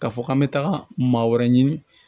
Ka fɔ k'an bɛ taga maa wɛrɛ ɲini